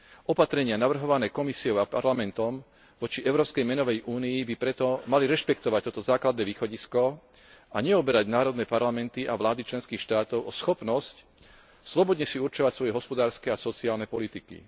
Opatrenia navrhované Komisiou a Parlamentom voči európskej menovej únii by preto mali rešpektovať toto základné východisko a neoberať národné parlamenty a vlády členských štátov o schopnosť slobodne si určovať svoje hospodárske a sociálne politiky.